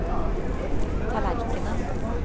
tallerkenen